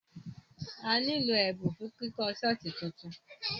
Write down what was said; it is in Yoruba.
A nílò ẹ̀bùn fún kíkọ́ ṣọ́ọ̀ṣì tuntun.